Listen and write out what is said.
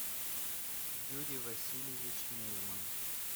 юрий васильевич мельман